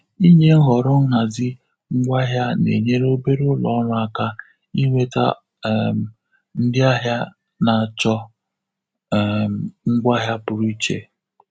Ịnye nhọrọ nhazi ngwa ahịa na-enyere obere ụlọ ọrụ aka inweta um ndị ahịa na-achọ um ngwaahịa pụrụ iche.